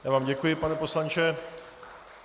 Já vám děkuji, pane poslanče.